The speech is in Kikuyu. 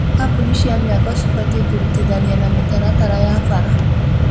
Kambũni cia mĩako cibatiĩ kũrutithania na mĩtaratara ya bara